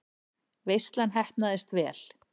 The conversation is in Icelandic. Veislan heppnaðist vel.